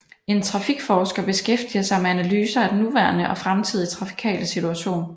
En trafikforsker beskæftiger sig med analyser af den nuværende og fremtidige trafikale situation